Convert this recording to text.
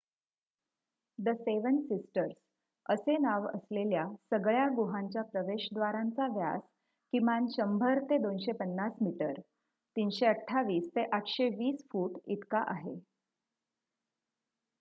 """The seven sisters" असे नाव असलेल्या सगळ्या गुहांच्या प्रवेशद्वारांचा व्यास किमान १०० ते २५० मीटर ३२८ ते ८२० फूट इतका आहे.